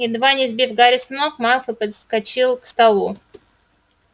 едва не сбив гарри с ног малфой подскочил к столу